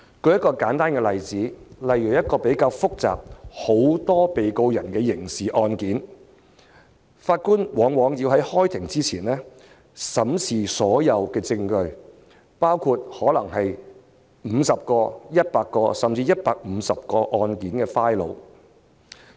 舉一個簡單例子，例如審理一宗比較複雜，涉及很多被告人的刑事案件，法官往往要在開庭前審視所有證據，包括可能是50個、100個，甚至是150個的案件檔案。